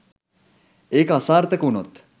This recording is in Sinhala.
ඒක අසාර්ථක වුණොත්